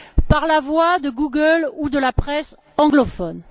par la voie de Google ou de la presse anglophone.